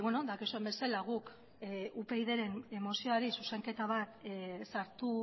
dakizuen bezala guk upydren mozioari zuzenketa bat sartu